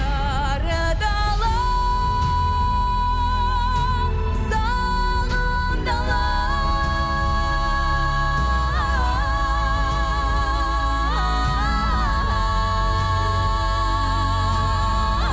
сары дала сағым дала